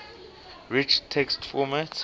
rich text format